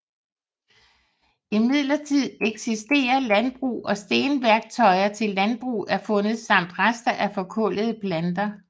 Imidlertid eksisterer landbrug og stenværktøjer til landbrug er fundet samt rester af forkullede planter